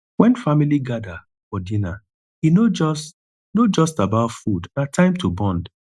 when family gather for dinner e no just no just about food na time to bond